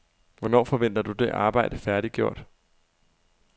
Hvornår forventer du det arbejde færdiggjort?